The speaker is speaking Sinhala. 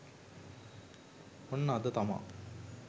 ඔන්න අද තමා